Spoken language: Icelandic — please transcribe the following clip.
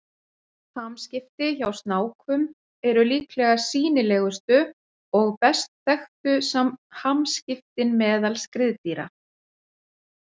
Hamskipti hjá snákum eru líklega sýnilegustu og best þekktu hamskiptin meðal skriðdýra.